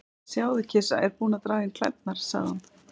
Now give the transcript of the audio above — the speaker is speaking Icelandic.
Sjáðu, kisa er búin að draga inn klærnar, sagði hún.